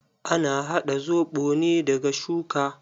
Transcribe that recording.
Ana haɗa zoɓo ne daga shuka.